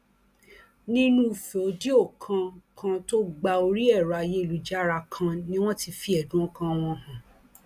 nínú fòdíò kan kan tó gba orí ẹrọ ayélujára kan ni wọn ti fi ẹdùn ọkàn wọn hàn